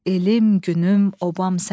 Elim, günüm, obam sənsən.